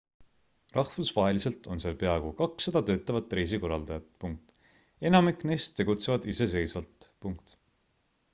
rahvusvaheliselt on seal peaaegu 200 töötavat reisikorraldajat enamik neist tegutsevad iseseisvalt